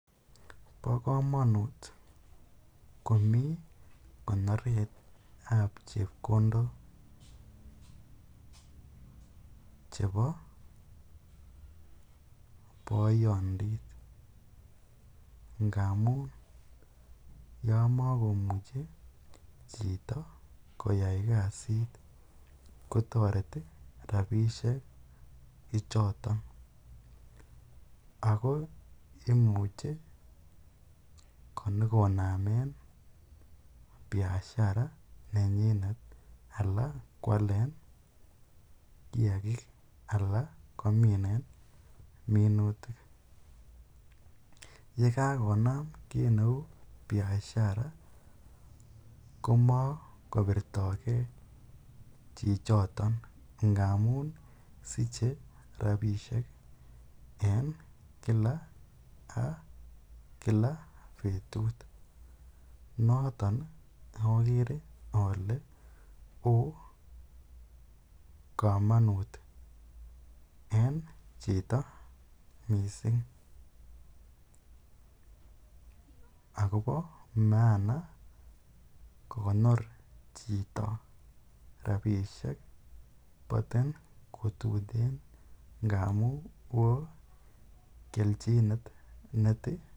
Bokomonut komii konoretab chepkondok chebo boyondit ngamun yoon mokomuche chito koyai kasit kotoreti rabishe choton ak ko imuche konyokonamen biashara nenyinet alaan kwalen kiakik alaan koominen minutik, yekakonam kiit neuu biashara komokobirtoke chichoton amun siche rabishek en kila ak kila betut, noton okere olee oo komonut en chito mising akobo maana kokonor chito rabishek motin kotuten ngamun woo keljinet netinye.